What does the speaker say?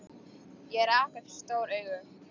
Ég rak upp stór augu.